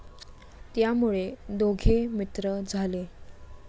त्यामुळे दोघे मित्र झाले.